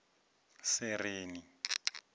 sereni